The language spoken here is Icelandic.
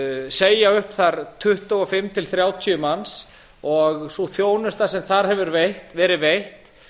segja upp þar tuttugu og fimm til þrjátíu manns og þeirri þjónustu sem þar hefur verið veitt